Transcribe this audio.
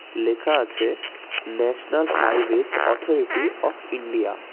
লেখা আছে National Highways Authority of India.